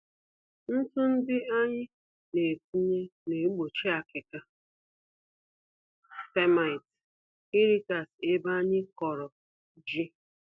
Ntụ ndị anyị netinye, naegbochi akịka (termites) irikasị ebe anyị kọrọ ji